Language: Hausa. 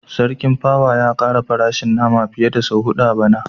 Sarki pawa ya kara farashin nama fiye da sau hudu a bana